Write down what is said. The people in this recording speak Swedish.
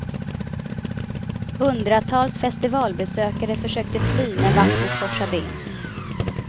Hundratals festivalbesökare försökte fly när vattnet forsade in.